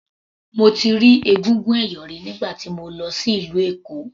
Mo ti rí egúngún ẹ̀yọ̀ rí nígbà tí mo lọ sí ìlú Èkó.